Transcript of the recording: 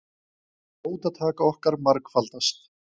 Fótatak okkar margfaldast.